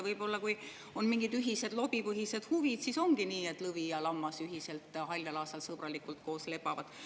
Võib-olla, kui on mingid ühised lobipõhised huvid, siis ongi nii, et lõvi ja lammas ühiselt haljal aasal sõbralikult koos lebavad.